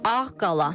Ağqala.